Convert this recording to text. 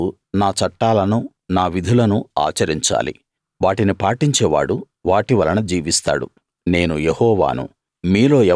మీరు నా చట్టాలను నా విధులను ఆచరించాలి వాటిని పాటించే వాడు వాటి వలన జీవిస్తాడు నేను యెహోవాను